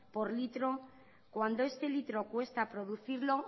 por litro cuando este litro cuesta producirlo